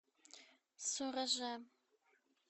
сураже